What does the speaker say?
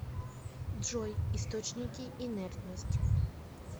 джой источники инертность